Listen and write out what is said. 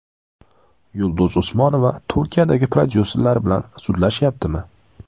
Yulduz Usmonova Turkiyadagi prodyuserlari bilan sudlashyaptimi?